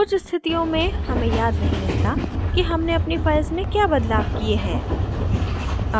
कुछ स्थितियों में हमें याद नहीं रहता कि हमने अपनी files में क्या बदलाव किये हैं